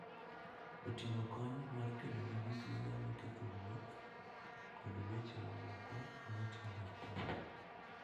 Oting'o kony mar kedo gi gik ma nyalo ketho wuoth kod weche moko ma timore apoya.